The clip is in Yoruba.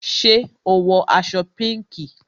Ṣé o wọ aṣọ pinki?